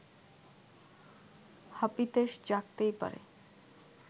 হাপিত্যেশ জাগতেই পারে